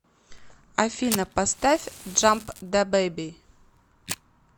афина поставь джамп дабейби